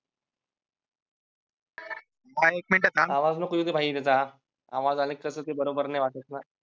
भाई एक मिनिट थांब. आवाज नको येऊ देऊ भाई त्याचा आवाज आला कि ते बरोबर नाही वाटतं ना